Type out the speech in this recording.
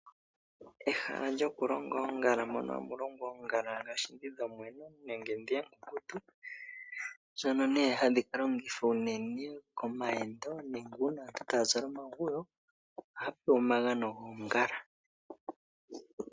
Ehala lyokulonga oongala mono hamu longwa oongala dhoshili dhomwenyo nenge dhi oonkunkutu dhono nee hadhi kalongithwa unene komayendo nenge una omuntu ta zala omaguyo ohaya pewa omagano goongala.